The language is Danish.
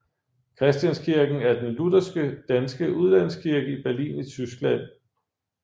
Christianskirken er den lutherske danske udlandskirke i Berlin i Tyskland